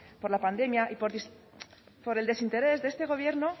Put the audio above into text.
por la pandemia y por el desinterés de este gobierno